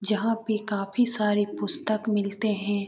यहां पे काफी सारे पुस्तक मिलते हैं।